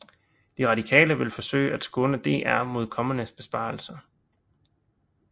De Radikale vil forsøge at skåne DR mod kommende besparelser